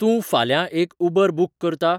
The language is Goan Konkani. तूं फाल्यां एक उबर बूक करता?